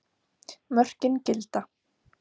Mörkin gilda.